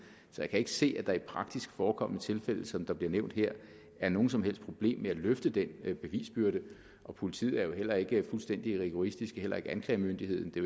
så jeg kan ikke se at der i praktisk forekommende tilfælde som der bliver nævnt her er noget som helst problem med at løfte den bevisbyrde og politiet er jo heller ikke fuldstændig rigoristiske heller ikke anklagemyndigheden det